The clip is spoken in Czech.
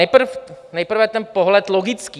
Nejprve ten pohled logický.